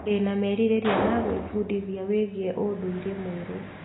Ndĩna merirĩria ma gwĩbundithia wĩgiĩ ũndũire mwerũ.